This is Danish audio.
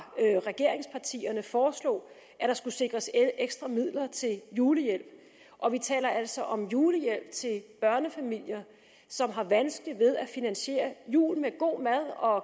regeringspartierne foreslog at der skulle sikres ekstra midler til julehjælp og vi taler altså om julehjælp til børnefamilier som har vanskeligt ved at finansiere julen med god mad og